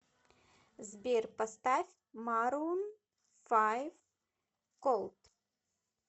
сбер поставь марун файв колд